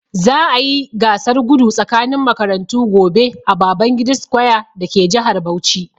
Za'a yi gasar gudu tsakanin makarantu gobe a Babangida square dake jihar Bauchi.